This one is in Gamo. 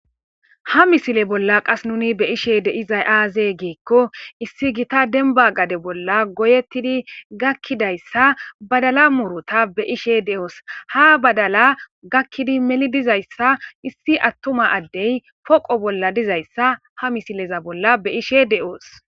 ha misile bolla qas nuni be ishe de izay aaze giikko issi gita denba gade bolla goyettidi gakkidayssa badala murota be ishe de7oos ha badala gakkidi meli dizayssa issi attuma addey poqo bolla dizayssa ha misileza bolla be ishe de7oos